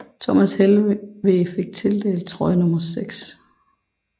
Thomas Helveg fik tildelt trøje nummer 6